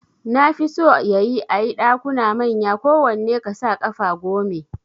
Nafi so yayi ayi Ɗakuna manya kowanne kasa ƙafa gome